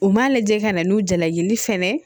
U m'a lajɛ ka na n'u jalajini fɛnɛ